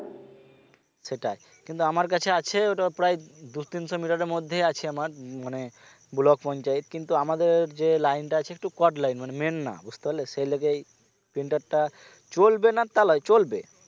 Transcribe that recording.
সেটাই কিন্তু আমার কাছে আছে ওটা প্রায় দু তিনশো meter এর মধ্যে আছে আমার মানে blok পঞ্চায়েত কিন্তু আমাদের যে line টা আছে একটু chord line মানে main না বুঝতে পারলে সেই লেগেই printer টা চলবে না তা নয় চলবে